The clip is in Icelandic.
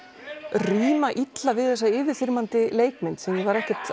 ríma illa við þessa yfirþyrmandi leikmynd sem ég var ekkert